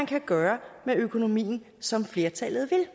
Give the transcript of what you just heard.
kan gøre med økonomien som flertallet vil